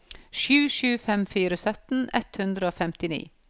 sju sju fem fire sytten ett hundre og femtini